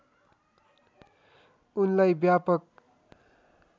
उनलाई व्यापक